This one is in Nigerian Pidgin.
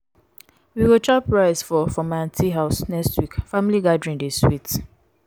we go chop rice for for my aunty house next week family gathering dey sweet.